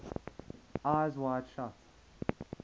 eyes wide shut